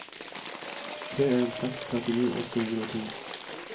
tre en en seks trettini åtte hundre og to